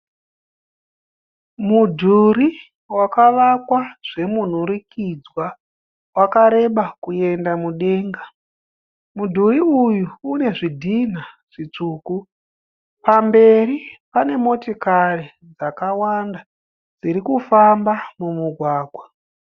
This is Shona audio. Mudhuri wakavakwa zvemunhurikidzwa, wakareba kuenda mudenga. Mudhuri uyu une zvidhina zvitsvuku. Pamberi pane motikari dzakawanda dziri kufamba mumugwagwa.